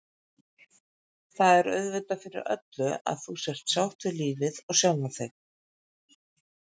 Það er auðvitað fyrir öllu að þú sért sátt við lífið og sjálfa þig.